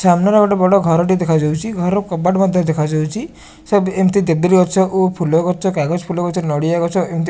ସାମ୍ନାରେ ଗୋଟେ ବଡ଼ ଘରଟିଏ ଦେଖା ଯାଉଚି ଘରର କବାଟ ମଧ୍ୟ ଦେଖା ଯାଉଚି ସେବ ଦେବିରି ଗଛ ଓ ଫୁଲ ଗଛ କାଗଜ ଫୁଲ ଗଛ ନଡ଼ିଆ ଗଛ ଏମିତି --